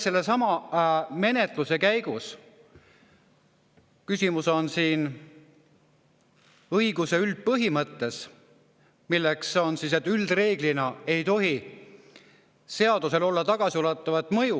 Sellesama menetluse käigus on küsimus õiguse üldpõhimõttes, milleks on see, et reeglina ei tohi seadusel olla tagasiulatuvat mõju.